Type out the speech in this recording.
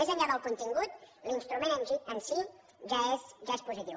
més enllà del contingut l’instrument en si ja és positiu